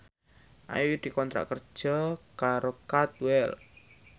Ayu dikontrak kerja karo Cadwell